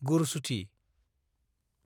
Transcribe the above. गुरसुथि